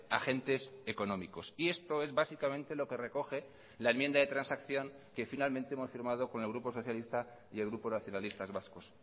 agentes económicos y esto es básicamente lo que recoge la enmienda de transacción que finalmente hemos firmado con el grupo socialista y el grupo nacionalistas vascos